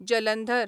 Jalandhar